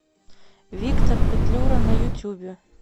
виктор петлюра на ютюбе